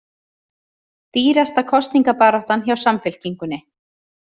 Dýrasta kosningabaráttan hjá Samfylkingunni